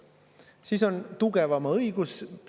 Siis on tugevama õigus.